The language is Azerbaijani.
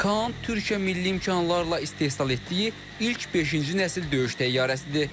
KAAN Türkiyə milli imkanlarla istehsal etdiyi ilk beşinci nəsil döyüş təyyarəsidir.